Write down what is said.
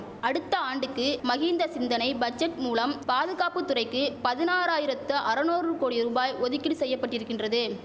அடுத்த ஆண்டுக்கு மஹிந்த சிந்தனை பட்ஜெட் மூலம் பாதுகாப்பு துறைக்கு பதினாராயிரத்து அரநூறு கோடி ரூபாய் ஒதுக்கீடு செய்யபட்டிருக்கின்றது